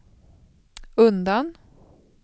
undan